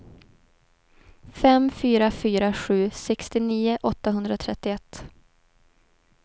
fem fyra fyra sju sextionio åttahundratrettioett